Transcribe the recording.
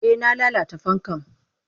Eh na lalata fankan.